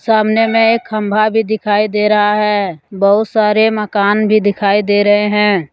सामने में एक खंभा भी दिखाई दे रहा है बहुत सारे मकान भी दिखाई दे रहे हैं।